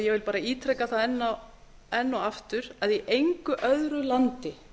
ég vil bara ítreka það enn og aftur að í engu öðru landi